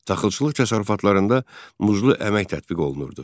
Taxılçılıq təsərrüfatlarında muzlu əmək tətbiq olunurdu.